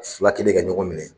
Fila kɛlen ka ɲɔgɔn minɛ